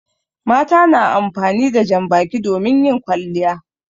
Mata na amfani da jan baki domin yin kwalliya.